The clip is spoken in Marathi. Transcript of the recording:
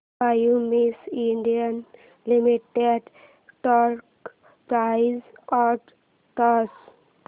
Cummins India limited stock price and chart